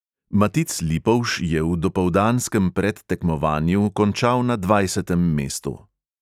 Matic lipovž je v dopoldanskem predtekmovanju končal na dvajsetem mestu.